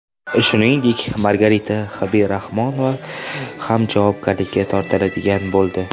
Shuningdek, Margarita Habibrahmanova ham javobgarlikka tortiladigan bo‘ldi.